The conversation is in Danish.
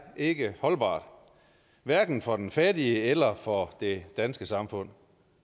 ikke holdbart hverken for den fattige eller for det danske samfund